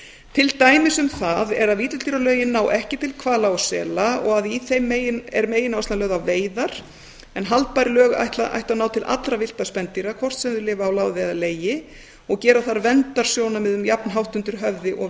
til dæmis um það er að villidýralögin ná ekki til hvala og sela og að í þeim er megináherslan lögð á veiðar en haldbær lög ættu að ná til allra villtra spendýra hvort sem þau lifa á láði eða í legi og gera þarf verndarsjónarmiðum jafnhátt undir höfði og